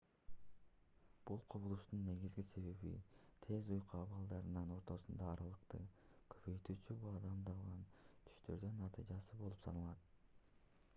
бул кубулуштун негизги себеби тез уйку абалдарынын ортосундагы аралыкты көбөйтүүчү баамдалган түштөрдүн натыйжасы болуп саналат